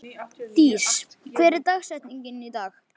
Dís, hver er dagsetningin í dag?